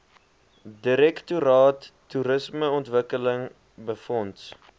direktoraat toerismeontwikkeling befonds